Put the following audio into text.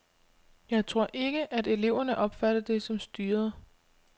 Jeg tror ikke, at eleverne opfatter det som styret.